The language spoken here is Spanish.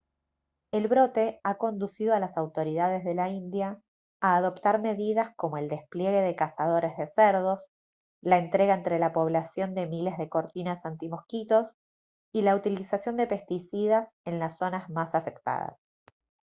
el brote ha conducido a las autoridades de la india a adoptar medidas como el despliegue de cazadores de cerdos la entrega entre la población de miles de cortinas antimosquitos y la utilización de pesticidas en las zonas más afectadas